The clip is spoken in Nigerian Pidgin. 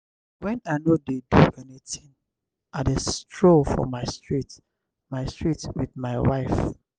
wen i no dey do anytin i dey stroll for my street my street wit my wife.